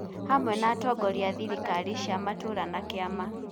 hamwe na atongoria a thirikari cia matũũra na kĩama.